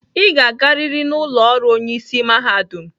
Ị ga-agarịrị n'ụlọ ọrụ onye isi mahadum!